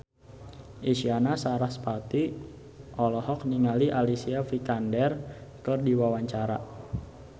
Isyana Sarasvati olohok ningali Alicia Vikander keur diwawancara